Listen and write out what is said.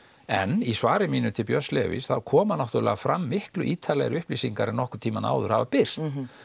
en í svari mínu til Björns Levís koma náttúrulega fram miklu ítarlegri upplýsingar en nokkurn tímann áður hafa birst